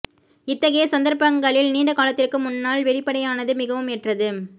இத்தகைய சந்தர்ப்பங்களில் நீண்ட காலத்திற்கு முன்னால் வெளிப்படையானது மிகவும் ஏற்றது